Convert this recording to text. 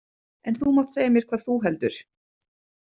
En þú mátt segja mér hvað þú heldur.